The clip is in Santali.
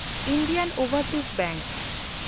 ᱤᱱᱰᱤᱭᱟᱱ ᱳᱵᱷᱮᱱᱰᱥᱤᱡᱽ ᱵᱮᱝᱠ